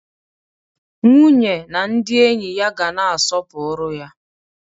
Nwunye na ndị enyi ya ga na-aspopụrụ ya.